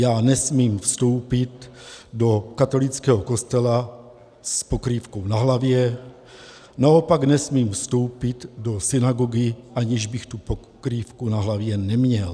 Já nesmím vstoupit do katolického kostela s pokrývkou na hlavě, naopak nesmím vstoupit do synagogy, aniž bych tu pokrývku na hlavě neměl.